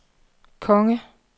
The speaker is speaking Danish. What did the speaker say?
konge